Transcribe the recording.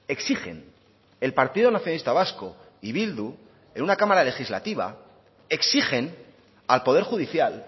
exigen el partido nacionalista vasco y bildu en una cámara legislativa exigen al poder judicial